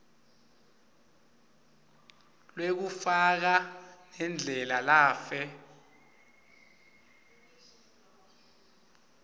lwekufa nendlela lafe